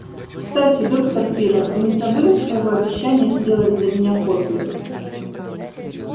кстати доктор пиренн вы не забыли своего обещания сделать для меня копию